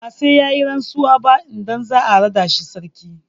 Ba sai ya yi rantsuwa ba idan za a raɗa shi sarki.